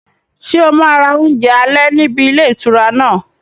Ṣé o máa ra oúnjẹ alẹ́ níbi ilé ìtura náà?